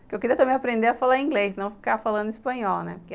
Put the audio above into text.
que eu queria também aprender a falar inglês, não ficar falando espanhol, né?